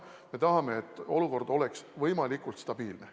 Me tahame, et olukord oleks võimalikult stabiilne.